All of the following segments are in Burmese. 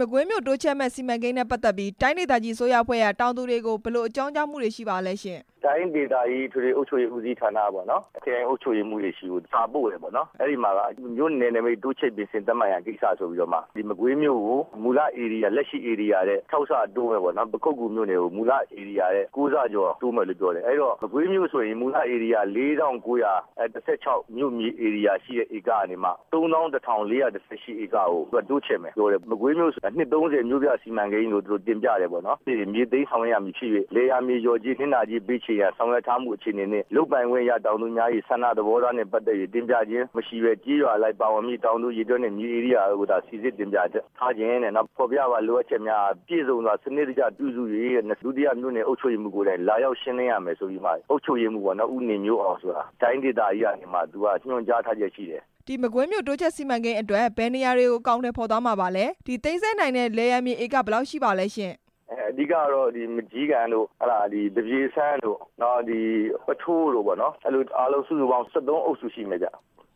မကွေးမြို့တိုးချဲ့မယ့်စီမံကိန်းနဲ့ ပတ်သက်ပြီး တိုင်းဒေသကြီးအစိုးရအဖွဲ့က တောင်သူတွေကို ဘယ်လိုအကြောင်းကြား မှု တွေရှိပါလဲရှင့်။ တိုင်းဒေသကြီးအထွေထွေအုပ်ချုပ်ရေးဌာနကပေါ့နော်၊ ခရိုင်အုပ်ချုပ်ရေးမှူးတွေဆီကို စာပို့တယ်ပေါ့၊ အဲ့ဒီမှာ မြို့နယ်နမိတ်တိုးချဲ့ သတ်မှတ်ရန်ဆိုပြီးတော့ မကွေးမြို့ကိုမူလဧရိယာ၊ လက်ရှိဧရိယာထက် ၆ ဆတိုးမယ်ပေါ့နော်၊ ပခုက္ကူမြို့ကိုကျတော့ ၉ ဆ တိုးမယ်လို့ပြောတယ်၊ အဲ့တော့ မကွေးမြို့ဆိုရင် မူဧရိယာ ၄၉၁၆ ဧက ကနေမှ ၃၁၄၁၈ ဧရိယာထိ တိုးချဲ့မယ်ပြောတယ်၊ မကွေးမြို့ဆိုတာနှစ် ၃၀ မြို့ပြစီမံကိန်းလို့ သူတို့တင်ပြ တယ်ပေါ့နော်၊ ပြီးရင်မြေသိမ်းဆောင်ရွက်ရမယ်ဆိုပြီး လယ်ယာမြေလျော်ကြေး၊ နစ်နာကြေးပေးချေရန်ဆောင်ရွက်ထားမှု အခြေအနေနှင့် လုပ်ပိုင်ခွင့် ရတောင်သူများရဲ့ဆန္ဒသဘောထားနှင့်ပတ်သက်ပြီး တင်ပြခြင်းမရှိဘဲ ကျေးရွာလိုက်ပါဝင်မည့် တောင်သူအရေအတွက်နှင့် မြေဧရိယာကိုသာ စီစစ်တင်ပြ ချက်၊ နောက်ဖော်ပြပါ လိုအပ်ချက်များအား ပြည့်စုံစွာ စနစ်တကျပြုစုပြီး ဒုတိယမြို့နယ် အုပ်ချုပ်ရေးမှူး ကိုယ်တိုင်လာရောက်ရှင်းလင်းရမယ်ဆိုပြီးမှ အုပ်ချုပ်ရေးမှူးပေါ့နော် ဦးနေမျိုးအောင်ဆိုတာ တိုင်းဒေသကြီးကနေမှ ညွှန်ကြားထားချက်ရှိတယ်၊ မကွေးမြို့တိုးချဲ့စီမံကိန်းအတွက် ဘယ်နေရာတွေကို အကောင်အထည်ဖော်သွားမှာလဲ၊ သိမ်းဆည်းခံရတဲ့လယ်ယာမြေဧက ဘယ်လောက်ထိပါလဲရှင့်။ အဓိက ကတော့ မကျည်းကန်တို့၊ သပြေစန်းတို့ နောက်ပုထိုးတို့ပေါ့နော်၊ အားလုံးပေါင်း ၁၃ အုပ်စုရှိမယ်ဗျ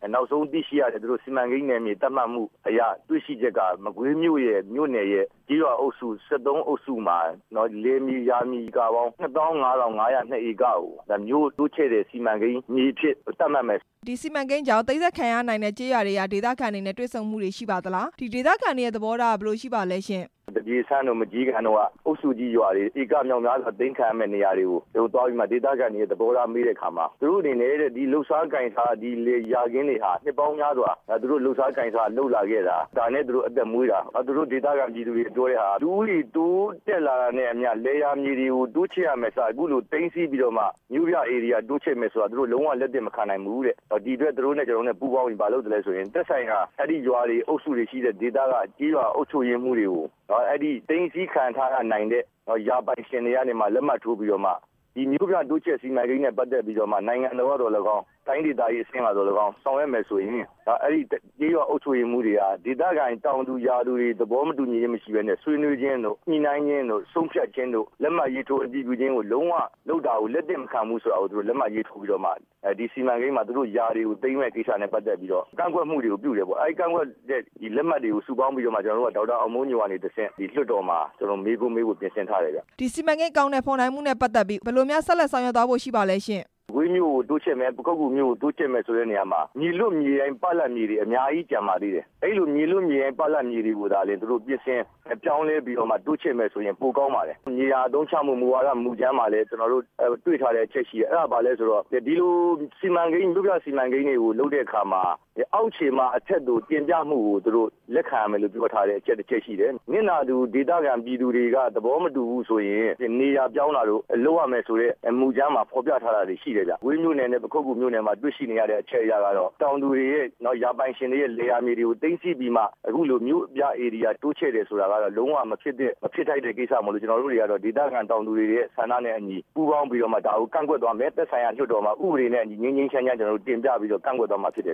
၊ နောက်ဆုံးသိရှိရတဲ့ စီမံကိန်းနေမြေသတ်မှတ်မှုရဲ့တွေ့ရှိချက်က မကွေးမြို့နယ်ရဲ့ကျေးရွာအုပ်စု ၁၃ အုပ်စုမှာ လယ်မြေဧကပေါင်း ၂၅၅၀၂ ကိုမြို့တိုးချဲ့တဲ့စီမံကိန်းမြေအဖြစ် သတ်မှတ်လိုက်တယ်။ ဒီစီမံကိန်းကြောင့် သိမ်းဆည်းခံရတဲ့ကျေးရွာတွေက ဒေသခံတွေနဲ့ တွေ့ဆုံမှုတွေရှိပါသလား၊ ဒေသခံတွေရဲ့သဘောထားကရော ဘယ်လိုရှိပါလဲရှင့်။ ဒေသခံတွေရဲ့သဘောထားမေးတဲ့အခါမှာ သူတို့ရဲ့လုပ်စားကိုင် စားယာခင်းတွေဟာ နှစ်ပေါင်းများစွာ သူတို့လုပ်လာ ခဲ့တာ၊ ဒေသခံတွေပြောတာ ကတော့ လူဦးရေတိုးတက်လာတာနဲ့အမျှ လယ်ယာမြေတွေကို တိုးချဲ့ရမယ့်အစား အခုလိုသိမ်းဆည်းပြီးတော့မှ မြို့ပြဧရိယာတိုးချဲ့မယ်ဆိုတာ သူတို့ လုံးဝလက်သင့် မခံနိုင်ဘူးတဲ့၊ ဒီအတွက် သူတို့နဲ့ ကျနော်တို့နဲ့ပူးပေါင်းပြီး ဘာလုပ်လဲဆိုရင် သက်ဆိုင် ရာအဲ့ဒီဒေသက ကျေးရွာအုပ်ချုပ်ရေးမှူးတွေကို သိမ်းဆည်းခံရနိုင်တဲ့ ယာပိုင်တွေ လက်မှတ်ထိုးပြီးတော့မှ ဒီမြို့ပြတိုးချဲ့စီမံကိန်းနဲ့ ပတ်သက်ပြီးတော့ မှ နိုင်ငံတော်က သော်လည်းကောင်း၊ တိုင်းဒေသကြီးအဆင့်လောက်သော်လည်းကောင်း ဆောင်ရွက် မယ်ဆိုရင် ကျေးရွာ အုပ်ချုပ်ရေးမှူးတွေ က ဒေသခံတောင်သူ၊ ရွာသူတွေ သဘောတူ ခြင်းမရှိပဲနဲ့ ဆွေးနွေးခြင်းတို့၊ ညှိနှိုင်းခြင်းတို့၊ ဆုံးဖြတ်ခြင်းတို့ လက်မှတ်ရေးထိုး အတည် ပြုလုပ်တာကို လုံးဝလက်သင့်မခံဘူး ဆိုတာကို လက်မှတ်ရေးထိုးပြီးတော့မှ ဒီမံကိန်းမှာ ယာတွေကိုသိမ်းမယ့်ကိစ္စနဲ့ ပတ်သက်ပြီးတော့ ကန့်ကွက်မှုတွေကိုပြုတယ်ပေါ့၊ ကန့်ကွက်တဲ့လက်မှတ်တွေကို စုဆောင်းပြီးတော့မှ ဒေါက်တာအောင်မိုးညိုမှတဆင့် လွှတ်တော်မှာ ကျနော်တို့မေးခွန်းမေးဖို့ပြင်ဆင် ထားတယ်ခင်ဗျ၊ ဒီစီမံကိန်း အကောင်အထည်ဖော်နိုင်မှုနဲ့ ပတ်သက်ပြီး ဘယ်လို များဆက်လက်ဆောင်ရွက်သွားဖို့ရှိပါလဲရှင့်။ မကွေးမြို့ကိုတိုးချဲ့မယ်၊ ပခုက္ကူမြို့ကိုတိုးချဲ့မယ်ဆိုတဲ့နေရာမှာ မြေလွတ်၊ မြေရိုင်းတွေအများကြီးကျန်ပါသေးတယ်၊ အဲ့လိုမြေ လွတ်တွေကို ပြင်ဆင် ပြောင်းလဲတိုးချဲ့မယ်ဆိုရင်ပိုကောင်းပါတယ်၊ မြေယာအသုံးချမှုမူဝါဒ မူကြမ်းမှာလဲ ကျနော်တို့တွေ့ထားတဲ့အချက်ရှိတယ်၊ အဲ့ဒါဘာလဲဆိုတော့ ဒီလိုစီမံကိန်းတွေကိုလုပ်တဲ့ အခါမှာ အောက်ခြေမှ အထက်ကိုတင်ပြမှုကို သူတို့လက်ခံရမယ်လို့ပြောထားတဲ့ အချက်တစ်ချက် ရှိတယ်၊ နစ်နာသူဒေသခံတွေက သဘောမတူဘူးဆိုရင် နေရာပြောင်းတာတို့ လုပ်ရမယ်ဆိုတဲ့ မူကြမ်းမှာရှိတယ်ဗျ၊ မကွေးမြို့နယ်နဲ့ ပခုက္ကူမြို့နယ် မှာတွေ့ရှိရတဲ့ အချက်အရကတော့ ယာပိုင်ရှင်တွေ ရဲ့လယ်ယာမြေတွေကို သိမ်းဆည်းပြီးမှ မြို့ပြဧရိယာတိုးချဲ့တယ်ဆိုတာ လုံးဝမဖြစ်သင့် တဲ့ကိစ္စမို့လို့ ကျနော်တို့တွေကတော့ ဒေသခံတောင်သူတွေရဲ့ဆန္ဒနဲ့ အညီ ပူးပေါင်းပြီး တော့မှ ဒါကိုကန့်ကွက်သွားမယ်၊ သက်ဆိုင်ရာမှာ ဥပဒေနဲ့အညီတင်ပြီးတော့ ငြိမ်းငြိမ်း ချမ်းချမ်းနဲ့ ကန့်ကွက်သွားမှာဖြစ်တယ်